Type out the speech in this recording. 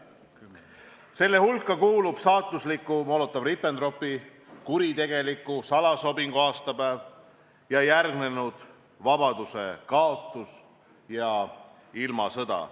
Nende hulka kuulub saatusliku Molotovi-Ribbentropi kuritegeliku salasobingu aastapäev ning järgnenud vabaduse kaotus ja ilmasõda.